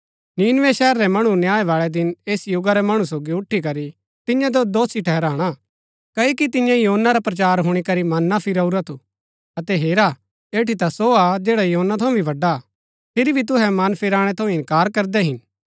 नीनवे शहर रै मणु न्याय बाळै दिन ऐस युगा रै मणु सोगी उठी करी तियां जो दोषी ठहराणा क्ओकि तियें योना रा प्रचार हुणी करी मन फिराऊरा थु अतै हेरा ऐठी ता सो हा जैडा योना थऊँ भी बड़ा हा फिरी भी तुहै मन फेराणै थऊँ इन्कार करदै हिन